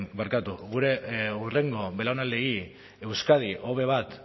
barkatu gure hurrengo belaunaldiei euskadi hobe bat